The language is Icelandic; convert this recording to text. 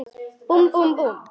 Búmm, búmm, búmm.